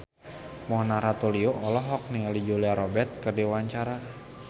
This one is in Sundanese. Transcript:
Mona Ratuliu olohok ningali Julia Robert keur diwawancara